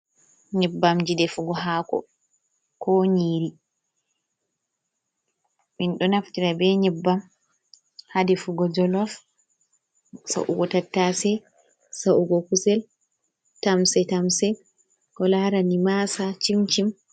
Nyebbam ji defugo hako ko nyiri, minɗo naftira be nyebbam hade fugo jolof, sa ugo tattase, sa ugo kusel, tamse tamse ko larani masa cimcim.